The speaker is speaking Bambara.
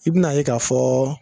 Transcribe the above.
I bi n'a ye ka fɔɔ